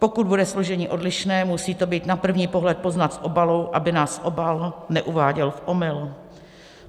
Pokud bude složení odlišné, musí to být na první pohled poznat v obalu, aby nás obal neuváděl v omyl.